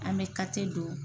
An be kate don